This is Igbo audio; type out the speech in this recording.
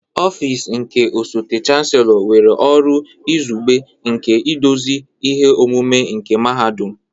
Ọfịs nke osote Chancellor nwere ọrụ izugbe nke iduzi ihe omume nke Mahadum.